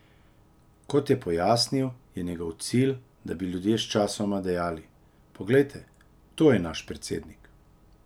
Kot je pojasnil, je njegov cilj, da bi ljudje sčasoma dejali: 'Poglejte, to je 'naš' predsednik'.